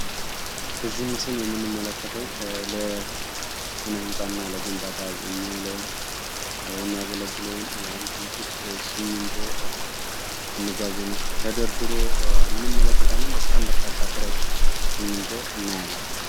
በዚህ ምስል የምንመለከተው ለስ-ነህንፃ ግንባታ የሚውለውን ወይም የሚያገለግለውን ሲሚንቶ መጋዝን ውስጥ ተደርድሮ እንመለከታለን። በጣም በርካታ ከረጢት ሲሚንቶ እንመለከታለን።